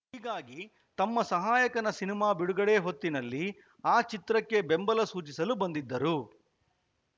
ಹೀಗಾಗಿ ತಮ್ಮ ಸಹಾಯಕನ ಸಿನಿಮಾ ಬಿಡುಗಡೆ ಹೊತ್ತಿನಲ್ಲಿ ಆ ಚಿತ್ರಕ್ಕೆ ಬೆಂಬಲ ಸೂಚಿಸಲು ಬಂದಿದ್ದರು